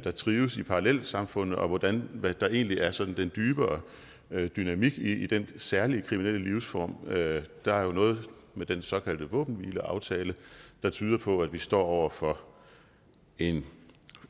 der trives i parallelsamfundene og hvordan der egentlig er sådan en dybere dynamik i den særlige kriminelle livsform der er jo noget med den såkaldte våbenhvileaftale der tyder på at vi står over for